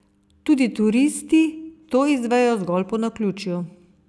Tudi turisti to izvejo zgolj po naključju.